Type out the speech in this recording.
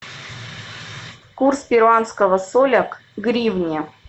курс перуанского соля к гривне